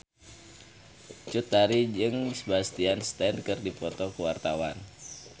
Cut Tari jeung Sebastian Stan keur dipoto ku wartawan